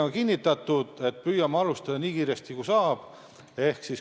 On kinnitatud strateegia, et püüame alustada nii kiiresti, kui saab.